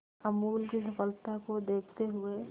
अमूल की सफलता को देखते हुए